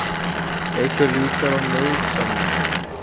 Eykur líkur á nauðasamningum